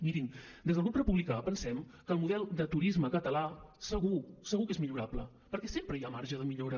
mirin des del grup republicà pensem que el model de turisme català segur segur que és millorable perquè sempre hi ha marge de millora